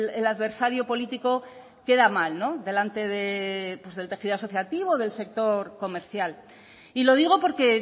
el adversario político queda mal delante del tejido asociativo o del sector comercial y lo digo porque